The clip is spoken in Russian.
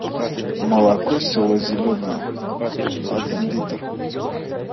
молоко село зеленое один литр